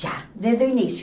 Já, desde o início.